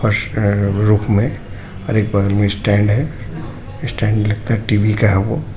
फर्श पे में और एक बगल में स्टैंड है स्टैंड लगता हे टी_वी का है वो.